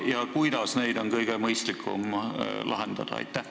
Ja kui näete, siis kuidas on kõige mõistlikum need lahendada?